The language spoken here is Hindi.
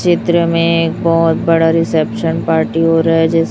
चित्र में एक बहोत बड़ा रिसेप्शन पार्टी हो रहा जि--